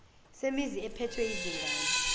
semizi ephethwe yizingane